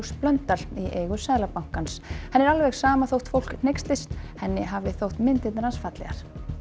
Blöndal í eigu Seðlabankans henni er alveg sama þótt fólk hneykslist henni hafi alltaf þótt myndirnar hans fallegar